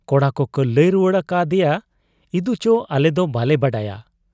ᱠᱚᱲᱟ ᱠᱚᱠᱚ ᱞᱟᱹᱭ ᱨᱩᱣᱟᱹᱲ ᱟᱠᱟ ᱟᱫᱮᱭᱟ, 'ᱤᱫᱩᱪᱚ ᱟᱞᱮ ᱫᱚ ᱵᱟᱞᱮ ᱵᱟᱰᱟᱭᱟ ᱾'